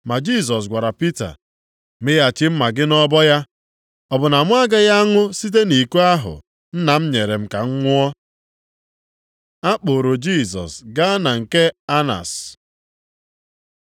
Ma Jisọs gwara Pita, “Mịghachi mma agha gị nʼọbọ ya! Ọ bụ na mụ agaghị aṅụ site nʼiko ahụ Nna m nyere m ka m ṅụọ?” A kpụrụ Jisọs gaa na nke Anas